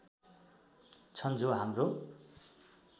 छन् जो हाम्रो